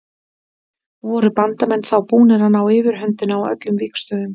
Voru Bandamenn þá búnir að ná yfirhöndinni á öllum vígstöðvum.